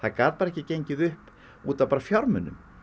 gat ekki gengið upp út af fjármunum